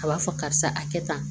A b'a fɔ karisa a kɛ tan